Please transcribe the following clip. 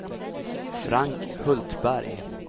Frank Hultberg